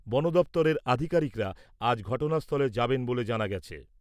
বনদফতরের আধিকারিকরা আজ ঘটনাস্থলে যাবেন বলে জানা গেছে।